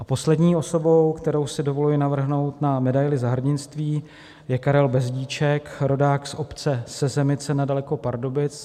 A poslední osobou, kterou si dovoluji navrhnout na medaili Za hrdinství, je Karel Bezdíček, rodák z obce Sezemice nedaleko Pardubic.